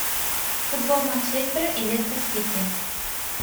футбол манчестера и лестер сити